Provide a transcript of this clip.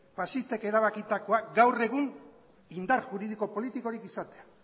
faxistek erabakitakoa gaur egun indar juridiko politikorik izatea